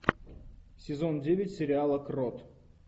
сезон девять сериала крот